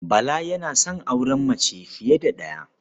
Bala yana son auren mace fiye da ɗaya.